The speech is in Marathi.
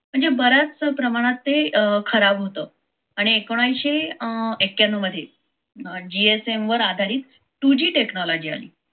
म्हणजे बऱ्याचशा प्रमाणात ते खराब होत आणि एकोणविससे अं एककयांनव मध्ये gsm वर आधारित two g technology आली